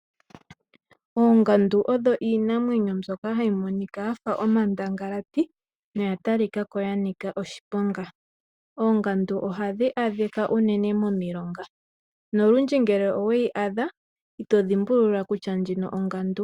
Oongandu odho iinamwenyo mbyoka hayi monika yafa omandangalati noya talika ko yina oshiponga. Ongandu ohadhi adhika unene momilonga, nolundji ngele oweyi adha ito dhimbulula kutya ndjino ongandu.